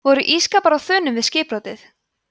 voru ísskápar á þönum við skipbrotið